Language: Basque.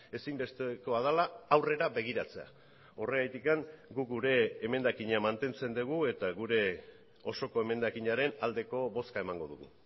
ezinbestekoa dela aurrera begiratzea horregatik guk gure emendakina mantentzen dugu eta gure osoko emendakinaren aldeko bozka emango dugu